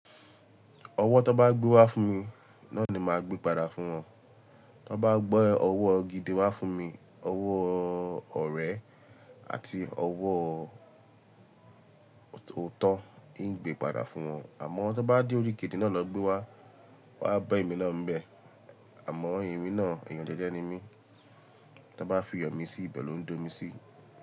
Ọwọ́ tó bá gbé wá fún mi, náà ni máa gbé padà fún wọn. Tó bá gbe ọwọ́ gidi wá fún mi, ọwọ́ ọ̀rẹ́ àti ọwọ́ òótọ́, n gbé padà fún wọn. Àmọ́ tó bá di orí kejì náà lọ gbé wá, wá bá mi lọ́ ń bẹ. Àmọ́ emì náà ẹ̀yàn jẹ́jẹ́ ni mí, tó bá fi iyọ̀ mi si, ìbẹ̀ ló ń dómi si.